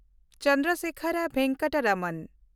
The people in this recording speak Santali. ᱪᱚᱱᱫᱨᱚᱥᱮᱠᱷᱚᱨ ᱵᱷᱮᱝᱠᱟᱴᱟ ᱨᱚᱢᱚᱱ